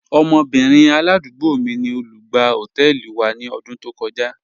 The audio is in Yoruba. Ọmọbìnrin aládúgbò mí ni olùgbà họtẹẹlì wa ni ọdún tó kọja..